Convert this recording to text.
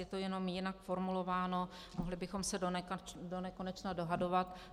Je to jenom jinak formulováno a mohli bychom se donekonečna dohadovat.